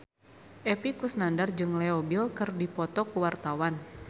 Epy Kusnandar jeung Leo Bill keur dipoto ku wartawan